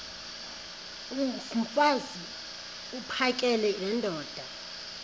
mfaz uphakele nendoda